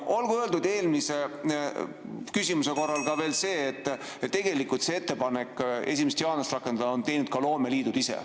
Ja olgu öeldud eelmise küsimuse kohta ka veel see, et selle ettepaneku 1. jaanuarist rakendada on teinud ka loomeliidud ise.